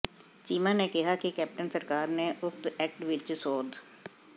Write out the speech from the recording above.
ਚੀਮਾ ਨੇ ਕਿਹਾ ਕਿ ਕੈਪਟਨ ਸਰਕਾਰ ਨੇ ਉਕਤ ਐਕਟ ਵਿਚ ਸੋਧ